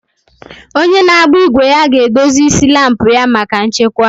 Onye na-agba igwe ya ga-edozi isi laampụ ya maka nchekwa.